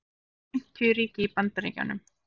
það eru fimmtíu ríki í bandaríkjunum